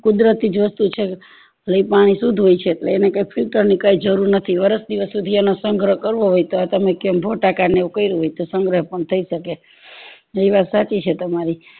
કુદરતી જ વસ્તુ છે લે ઈ પાણી શુદ્ધ હોય છે એટલે એને કઈ filter ની જરૂર નથી વર્ષ દિવસ સુધી એનો સંગ્રહ કરવો હોય તો તમે નું કર્યું હોય તો સંગ્રહ પણ થય શકે